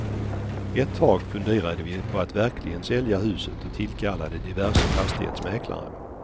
Ett tag funderade vi på att verkligen sälja huset och tillkallade diverse fastighetsmäklare.